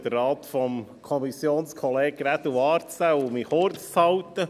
Gut, ich versuche, den Rat von Kommissionskollege Grädel wahrzunehmen und mich kurzzuhalten.